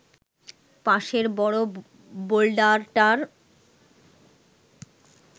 পাশের বড় বোল্ডারটার